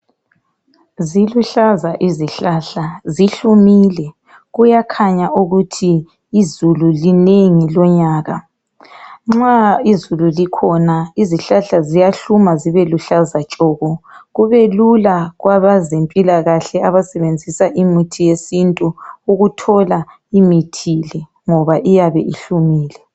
ziluhlaza izihlahla zihlumile kuyakhanya ukuthi izulu linengi lonyaka nxa izulu likhona izihlahla ziyahluma zibeluhlaza tshoko kubelula kwabezempilakahle abasebenzisa imithi yesintu ukuthola imithi le ngoba iyabe ihlumile